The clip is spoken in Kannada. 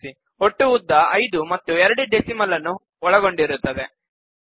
ಗಮನಿಸಿ ಒಟ್ಟು ಉದ್ದ ಐದು ಮತ್ತು ಎರಡು ಡೆಸಿಮಲ್ ನ್ನು ಒಳಗೊಂಡಿರುತ್ತದೆ